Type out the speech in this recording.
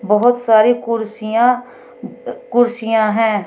बहुत सारी कुर्सियां कुर्सियां हैं।